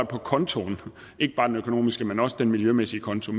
på kontoen ikke bare den økonomiske men også den miljømæssige konto